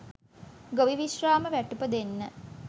ගොවි විශ්‍රාම වැටුප දෙන්න